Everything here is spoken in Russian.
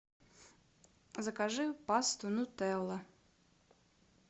закажи пасту нутелла